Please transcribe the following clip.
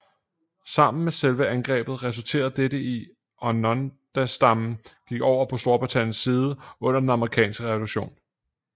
Sammen med selve angrebet resulterede dette i at Onondagastammen gik over på Storbritanniens side under Den Amerikanske Revolution